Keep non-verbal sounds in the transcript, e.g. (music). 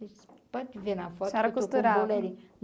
(unintelligible) podem ver na foto a senhora costurava que eu estou com bolerinho.